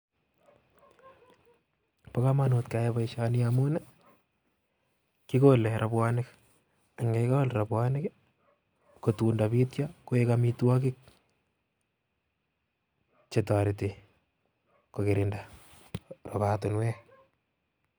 Bo komonut keyai boishoni ngamun kikolee robuonik ak yekikol robuonik I, kotun kobityo kotoreti koik amitwogiik che kirindo rubet